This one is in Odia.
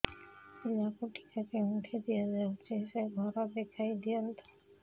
ପିଲାକୁ ଟିକା କେଉଁଠି ଦିଆଯାଉଛି ସେ ଘର ଦେଖାଇ ଦିଅନ୍ତୁ